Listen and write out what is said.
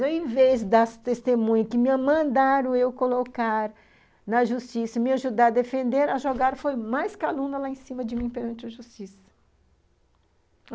Ao invés das testemunhas que me mandaram eu colocar na justiça, me ajudar a defender, a jogar foi mais calúnia lá em cima de mim perante a justiça.